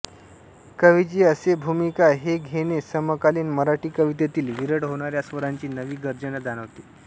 कवीची असे भूमिका हे घेणे समकालीन मराठी कवितेतील विरळ होणाऱ्या स्वराची नवी गर्जना जाणवते